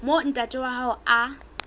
moo ntate wa hae a